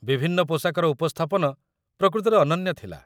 ବିଭିନ୍ନ ପୋଷାକର ଉପସ୍ଥାପନ ପ୍ରକୃତରେ ଅନନ୍ୟ ଥିଲା